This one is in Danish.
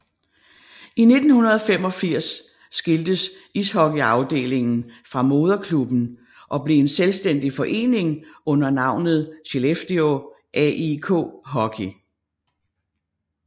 I 1985 skiltes ishockeyafdelingen fra moderklubben og blev en selvstændig forening under navnet Skellefteå AIK Hockey